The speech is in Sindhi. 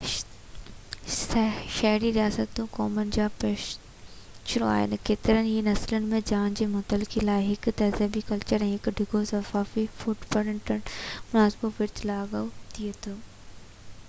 شهري رياستون قومن جا پيشرو آهن ڪيترن ئي نسلن ۾ ڄاڻ جي منتقلي لاءِ هڪ تهذيبي ڪلچر هڪ ڊگهو ثقافتي فوٽ پرنٽ ۽ منصفاڻو ورڇ لاڳو ٿئي ٿي